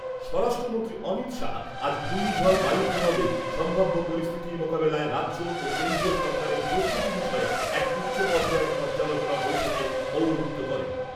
স্বরাষ্ট্রমন্ত্রী অমিত শাহ আজ ঘূর্ণিঝড় বায়ুর প্রভাবে সম্ভাব্য পরিস্থিতি মোকাবেলায় রাজ্য ও কেন্দ্রীয় সরকারের প্রস্তুতি বিষয়ে এক উচ্চ পর্যায়ের পর্যালোচনা বৈঠকে পৌরহিত্য করেন।